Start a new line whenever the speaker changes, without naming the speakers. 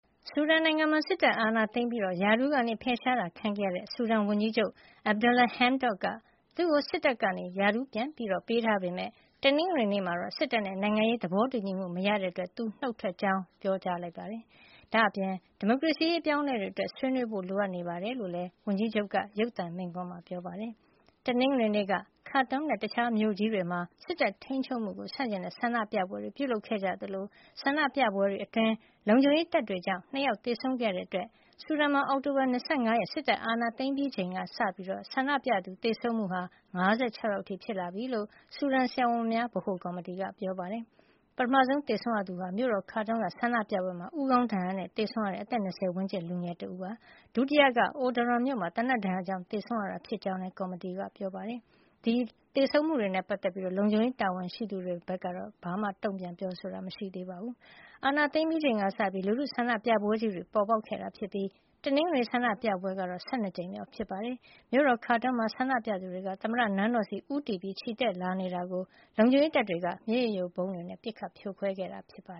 ဆူဒန်နိုင်ငံမှာ စစ်တပ်အာဏာသိမ်းပြီး ရာထူးက ဖယ်ရှားခံခဲ့ရတဲ့ ဆူဒန်ဝန်ကြီးချုပ် Abdalla Hamdok က သူ့ကို စစ်တပ်က ရာထူးပြန်ပေးထားပေမယ့် တနင်္ဂနွေနေ့မှာတော့ စစ်တပ်နဲ့ နိုင်ငံရေးသဘောတူညီမှု မရတဲ့အတွက် သူနုတ်ထွက်ကြောင်း ပြောကြားလိုက်ပါတယ်။ ဒါ့အပြင် ဒီမိုကရေစီရေး အပြောင်းအလဲတွေအတွက် ဆွေးနွေးဖို့ လိုအပ်နေတယ်လို့လည်း ဝန်ကြီးချုပ်က ရုပ်သံမိန့်ခွန်းမှာ ပြောပါတယ်။ တနင်္ဂနွေနေ့က Khartoum နဲ့ တခြားမြို့ကြီးတွေမှာ စစ်တပ်ထိန်းချုပ်မှုကို ဆန့်ကျင်တဲ့ ဆန္ဒပြပွဲတွေ ပြုလုပ်ခဲ့ကြသလို ဆန္ဒပြပွဲတွေအတွင်း လုံခြုံရေးတပ်တွေကြောင့် ၂ ယောက် သေဆုံးခဲ့ရတဲ့အတွက် ဆူဒန်မှာ အောက်တိုဘာလ ၂၅ ရက် စစ်တပ်အာဏာသိမ်းခဲ့ချိန်ကစပြီး ဆန္ဒပြသူ သေဆုံးမှုဟာ ၅၆ ယောက်အထိ ဖြစ်လာပြီလို့ ဆူဒန်ဆရာဝန်များ ဗဟိုကော်မတီက ပြောပါတယ်။ ပထမဆုံး သေဆုံးရသူဟာ မြို့တော် Khartoum က ဆန္ဒပြပွဲမှာ ဦးခေါင်းဒဏ်ရာနဲ့ သေဆုံးရတဲ့ အသက် ၂၀ ဝန်းကျင် လူငယ်တဦးဖြစ်ပြီး ဒုတိယက Omdurman မြို့မှာ သေနတ်ဒဏ်ရာကြောင့် သေဆုံးရတာ ဖြစ်ကြောင်းလည်း ကော်မတီက ပြောပါတယ်။ ဒီသေဆုံးမှုတွေနဲ့ ပတ်သက်ပြီး လုံခြုံရေးတာဝန်ရှိသူတွေဘက်က တစုံတရာ တုံ့ပြန်ပြောဆိုတာ မရှိသေးပါဘူး။ အာဏာသိမ်းပြီးချိန်ကစပြီး လူထုဆန္ဒပြပွဲကြီးတွေ ပေါ်ပေါက်ခဲ့တာဖြစ်ပြီး တနင်္ဂနွေနေ့ ဆန္ဒပြပွဲကတော့ ၁၂ ကြိမ်မြောက် ဖြစ်ပါတယ်။ မြို့တော် Khartoum မှာ ဆန္ဒပြသူတွေ သမ္မတနန်းတော်ဆီ ဦးတည်ချီတက်လာတာကို လုံခြုံရေးတပ်တွေက မျက်ရည်ယိုဗုံးတွေနဲ့ ပစ်ခတ်ဖြိုခွဲခဲ့တာပါ